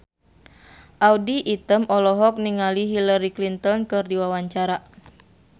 Audy Item olohok ningali Hillary Clinton keur diwawancara